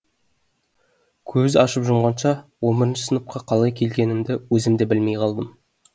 көз ашып жұмғанша он бірінші сыныпқа қалай келгенімді өзім де білмей қалдым